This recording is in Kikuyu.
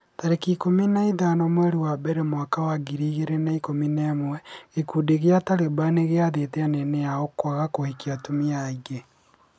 tarĩki ikũmi na ithano mweri wa mbere mwaka wa ngiri igĩrĩ na ikũmi na ĩmwe gĩkundi gĩa Taliban nĩgĩathĩte anene ao kwaga kũhikia atumia aingĩ.